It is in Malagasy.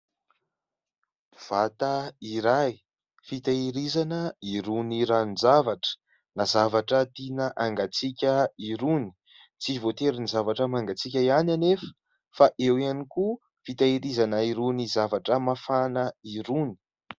Vata iray fitehirizana irony ranon-javatra na zavatra tiana hangatsiaka irony, tsy voatery ny zavatra mangatsiaka ihany anefa fa eo ihany koa fitehirizana irony zavatra mafana irony.